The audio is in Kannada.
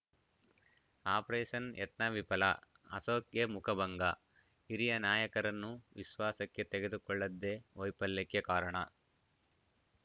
ಆಪರೇಷನ್‌ ಯತ್ನ ವಿಫಲ ಅಶೋಕ್‌ಗೆ ಮುಖಭಂಗ ಹಿರಿಯ ನಾಯಕರನ್ನು ವಿಶ್ವಾಸಕ್ಕೆ ತೆಗೆದುಕೊಳ್ಳದ್ದೇ ವೈಫಲ್ಯಕ್ಕೆ ಕಾರಣ